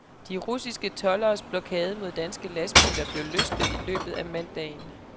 De russiske tolderes blokade mod danske lastbiler blev løsnet i løbet af mandagen.